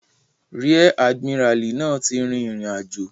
Ríẹ̀ àdìmíràlí náà ti rìn ìrìnàjò